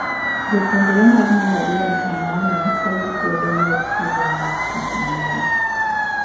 Jopuonjre mag malariany ong`anyo kagikwedo yor chudo mar pis manyien